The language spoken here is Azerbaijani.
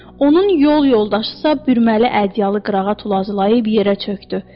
Onun yol yoldaşısa bürməli ədyalı qırağa tullayıb yerə çökdü.